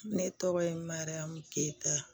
Ne tɔgɔ ye mahayamu keyita